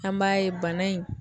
An b'a ye bana in